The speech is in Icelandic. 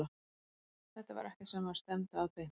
Þetta var ekkert sem maður stefndi að beint.